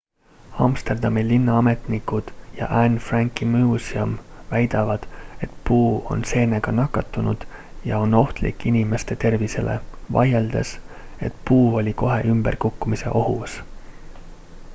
amsterdami linnaametnikud ja anne franki muuseum väidavad et puu on seenega nakatunud ja on ohtlik inimeste tervisele vaieldes et puu oli kohe ümber kukkumise ohus